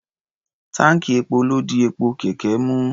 Táǹkì epo ló di epo kẹ̀kẹ́ mú.